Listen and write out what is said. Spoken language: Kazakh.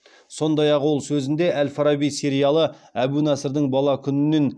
сондай ақ ол сөзінде әл фараби сериалы әбу насырдың бала күнінен